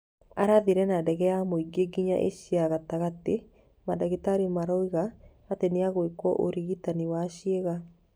Arathire na ndege ya mũingĩ nginya Asia ya gatagatĩ, mandagĩtarĩ maroiga atĩ nĩagwĩkwo ũrigitani wa ciĩga